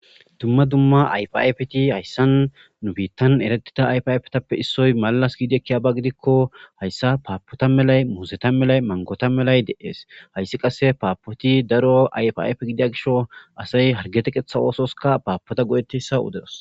dumma dumma ayfiayfeti hayssan nu biittan eretida ayfaypetappe issoy malas giidi ekkiyaba gidikko hayssa paapota melay muuseta melay mangota melay de7ees hayssi qasse paapoti daro ayfafe gidia gisho asay hargete qetha oososka paapota go7ettessa udedos